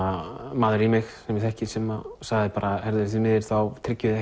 maður í mig sem ég þekki sem sagði bara því miður þá tryggjum við